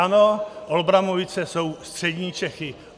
Ano, Olbramovice jsou střední Čechy.